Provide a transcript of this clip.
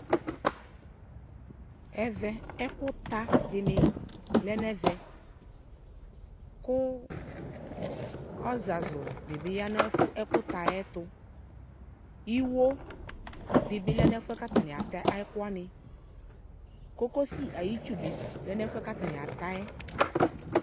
Ɛvɛ ɛkʋta dɩnɩ lɛ n'ɛvɛ, kʋ ɔzazʋ dɩ bɩ ya n'ɛkʋtaɛ tʋ Iwo dɩ bɩ lɛ n'ɛfʋɛ k'atanɩ ata ɛkʋwanɩ Kokosi ay'itsu dɩ lɛ n'ɛfʋɛ k'atanɩ ata yɛ